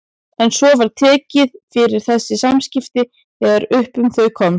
En svo var tekið fyrir þessi samskipti þegar upp um þau komst.